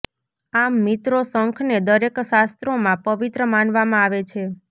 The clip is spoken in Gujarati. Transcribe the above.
આમ મિત્રો શંખને દરેક શાસ્ત્રોમાં પવિત્ર માનવામાં આવે છે